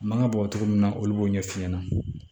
Mankan bɔ cogo min na olu b'o ɲɛf'i ɲɛna